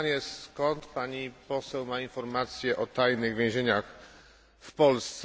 Mam pytanie skąd Pani Poseł ma informacje o tajnych więzieniach w Polsce?